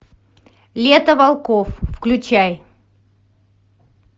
лето волков включай